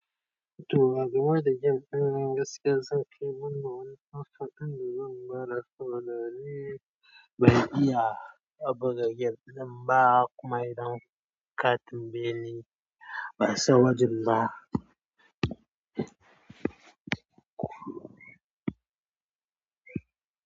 To, a gama da gem, ɗan gaske zan keɓe ma wani kaso ɗan daren ba rasa ba, danin bai iya a buga gem ba kuma idan katin bene ba saboda jima.